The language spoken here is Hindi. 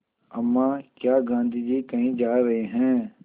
अम्मा क्या गाँधी जी कहीं जा रहे हैं